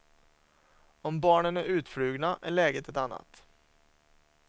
Om barnen är utflugna är läget ett annat.